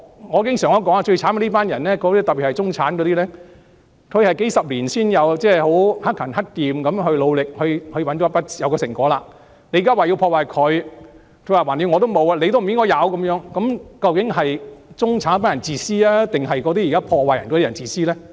我經常說最可憐的就是這群中產人士，他們克勤克儉、努力數十年才得到成果，現在說要破壞他們的成果，因為反正我沒有，你也不應該擁有，那究竟是中產人士自私還是破壞的人自私呢？